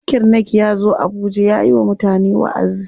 Zakir Naik yazo abuja yayi wa mutane waʼazi.